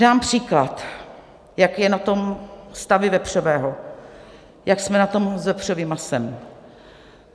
Dám příklad, jak je na tom stav vepřového, jak jsme na tom s vepřovým masem.